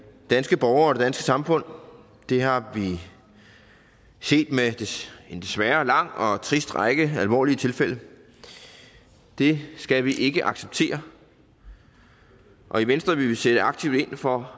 danske borgere og det danske samfund det har vi set med en desværre lang og trist række alvorlige tilfælde det skal vi ikke acceptere og i venstre vil vi sætte aktivt ind for